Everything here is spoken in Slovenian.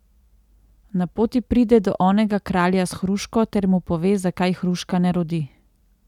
Na poti pride do onega kralja s hruško ter mu pove, zakaj hruška ne rodi.